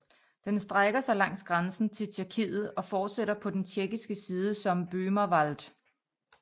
Den strækker sig langs grænsen til Tjekkiet og fortsætter på den tjekkiske side som Böhmerwald